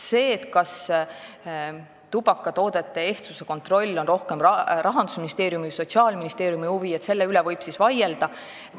Selle üle, kas tubakatoodete ehtsuse kontroll on rohkem Rahandusministeeriumi või Sotsiaalministeerium valdkond, võib vaielda.